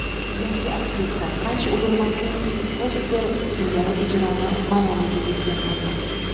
Yangi aktrisa qancha urinmasin, Foster singari ijroni maromiga yetkazmagan.